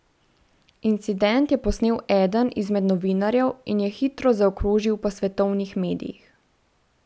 Incident je posnel eden izmed novinarjev in je hitro zaokrožil po svetovnih medijih.